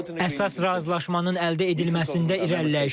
Əsas razılaşmanın əldə edilməsində irəliləyiş var.